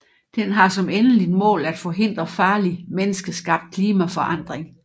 Den har som endeligt mål at forhindre farlig menneskeskabt klimaforandring